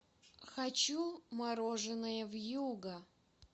хочу мороженое вьюга